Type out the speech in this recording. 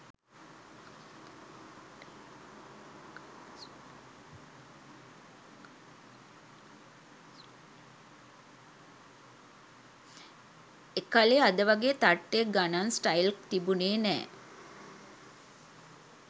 එකලේ අද වගෙ තට්ටෙ ගන ස්ටයිල් ක් තිබුනෙ නැ